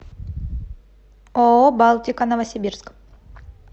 ооо балтика новосибирск